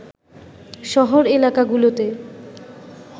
শহর এলাকাগুলোতে